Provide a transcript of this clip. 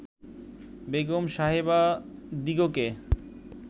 Begum সাহেবাদিগকে